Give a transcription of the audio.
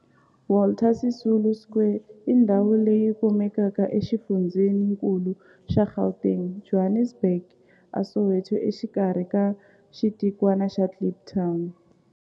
Walter Sisulu Square i ndhawu leyi kumekaka exifundzheni-nkulu xa Gauteng, Johannesburg, a Soweto, exikarhi ka xitikwana xa Kliptown.